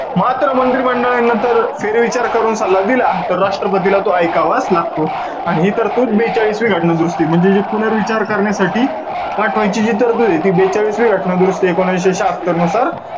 मात्र मंत्री मंडळाने नंतर फेरविचार करून सल्ला दिला, तर राष्ट्रपतीला तो एकावाच लागतो. आणि हि तरतूद बेचाळीसवी घटना दुरुस्ती, म्हणजे जी पुनर्विचार करण्यासाठी पाठवायची जी तरतुदे, ती बेचाळिसवी घटना दुरुस्ती एकोणविशे शहात्तरनुसार,